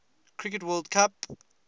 cricket world cup